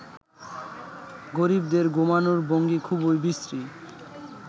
গরিবদের ঘুমোনোর ভঙ্গি খুবই বিশ্রী